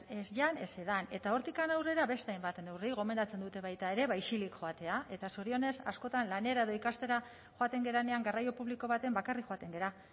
ez jan ez edan eta hortik aurrera beste hainbat neurri gomendatzen dute baita ere ba isilik joatea eta zorionez askotan lanera edo ikastera joaten garenean garraio publiko batean bakarrik joaten gara